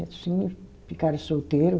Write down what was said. E assim ficaram solteiro.